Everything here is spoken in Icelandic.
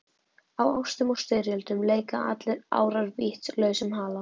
Í ástum og styrjöldum leika allir árar vítis lausum hala.